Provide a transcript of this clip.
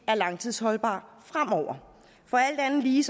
er langtidsholdbar fremover for alt anden lige